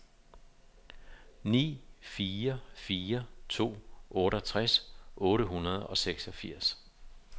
ni fire fire to otteogtres otte hundrede og seksogfirs